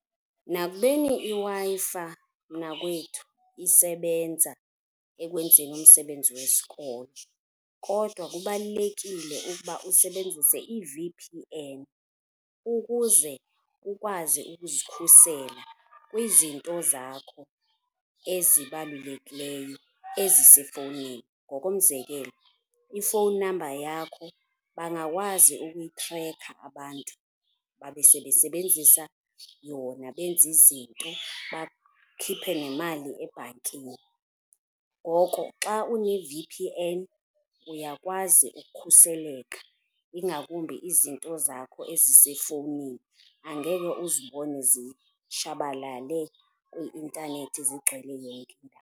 Nakubeni iWi-Fi mnakwethu isebenza ekwenzeni umsebenzi wesikolo kodwa kubalulekile ukuba usebenzise i-V_P_N ukuze ukwazi ukuzikhusela kwizinto zakho ezibalulekileyo ezisefowunini. Ngokomzekelo, i-phone number yakho bangakwazi ukuyitrekha abantu babe sebesebenzisa yona benze izinto bakhiphe nemali ebhankini. Ngoko xa une-V_P_N uyakwazi ukukhuseleka, ingakumbi izinto zakho ezisefowunini angeke uzibone zishabalale kwi-intanethi zigcwele .